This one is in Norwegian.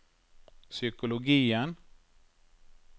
psykologien